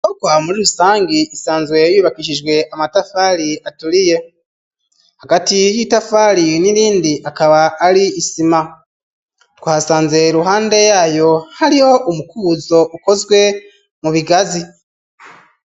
Bokoha muri rusange isanzwe yuyubakishijwe amatafali aturiye hagati y'itafali n'irindi akaba ari isima tw hasanze ruhande yayo hariho umukuzo ukozwe mu bigazi.